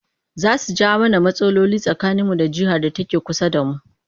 Za su jawo mana rmatsaloli tsakaninmu da jihar da take kusa da mu